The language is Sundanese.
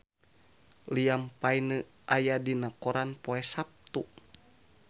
Liam Payne aya dina koran poe Saptu